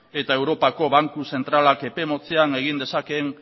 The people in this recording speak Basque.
eta europako banku zentralak epe motzean egin dezakeen